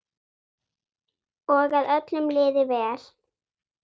Og að öllum liði vel.